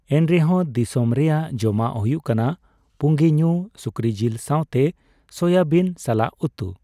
ᱮᱱᱨᱮᱦᱚᱸ, ᱫᱤᱥᱚᱢ ᱨᱮᱭᱟᱜ ᱡᱚᱢᱟᱜ ᱦᱩᱭᱩᱜ ᱠᱟᱱᱟ ᱯᱩᱸᱜᱤ ᱧᱩ ᱥᱩᱠᱨᱤ ᱡᱤᱞ ᱥᱟᱣᱛᱮ ᱥᱚᱭᱟᱵᱤᱱ ᱥᱟᱞᱟᱜ ᱩᱛᱩ ᱾